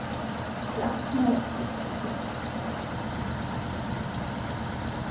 Það sljákkaði í Lillu við söguna.